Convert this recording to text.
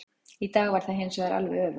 Í dag var það hinsvegar alveg öfugt.